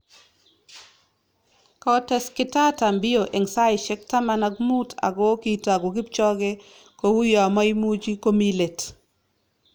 Kotes Kitata Mbio eng saisyek taman ak muut ako kitagu kipchoge kouyo maimuchi komi let